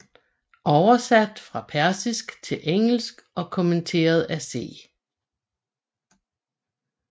Oversat fra persisk til engelsk og kommenteret af C